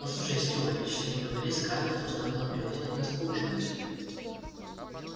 послушай стю а ведь что ни говори скарлетт должна была бы пригласить нас поужинать